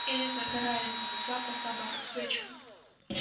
или загорается но слабо-слабо как свечка